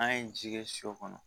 An ye ji kɛ sɔ kɔnɔ